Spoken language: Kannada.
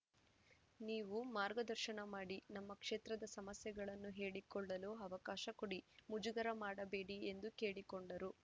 ನೀವು ಮಾರ್ಗದರ್ಶನ ಮಾಡಿ ನಮ್ಮ ಕ್ಷೇತ್ರದ ಸಮಸ್ಯೆಗಳನ್ನು ಹೇಳಿಕೊಳ್ಳಲು ಅವಕಾಶ ಕೊಡಿ ಮುಜುಗರ ಮಾಡಬೇಡಿ ಎಂದು ಕೇಳಿಕೊಂಡರು